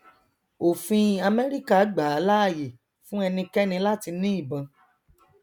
òfin amẹrika gbàá láàyè fún ẹnikẹni láti ní ìbọn